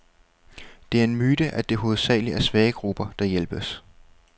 Det er en myte, at det hovedsageligt er svage grupper, der hjælpes.